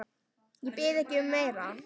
Ég bið ekki um meira.